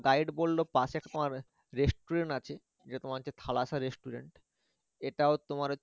guide বললো পাশে তোমার restaurant আছে সেটা তোমার হচ্ছে restaurant এটাও তোমার